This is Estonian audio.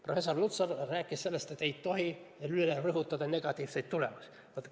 Professor Lutsar rääkis sellest, et ei tohi liigselt rõhutada negatiivseid tulemusi.